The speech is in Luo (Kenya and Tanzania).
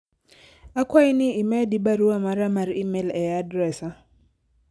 akwayi ni imedi barua mara mar email e adresa